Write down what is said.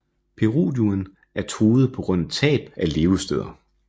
Peruduen er truet på grund af tab af levesteder